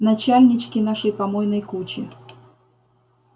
начальнички нашей помойной кучи